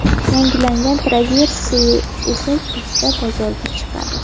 Yangilangan Traverse esa kuzda bozorga chiqadi.